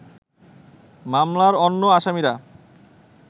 মামলার অন্য আসামিরা